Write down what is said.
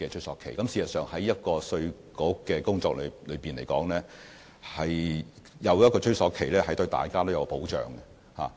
事實上，在稅務局的工作中，設有追溯年期對大家都有保障。